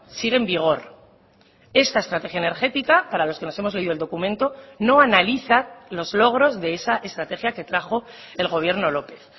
sigue en vigor esta estrategia energética para los que nos hemos leído el documento no analiza los logros de esa estrategia que trajo el gobierno lópez